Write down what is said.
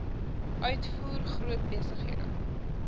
uitvoer groot besighede